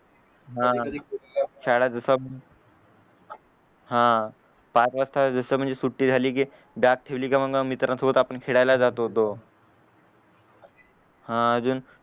हा शाळेचं हा पाच वासता जस म्हणजे सुट्टी झाली की बॅग ठेवली की मंग मित्रांसोबत आपण खेळायला जात होतो हा अजून